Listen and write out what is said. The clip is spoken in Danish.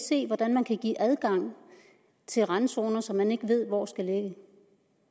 se hvordan man kan give adgang til randzoner som man ikke ved hvor skal ligge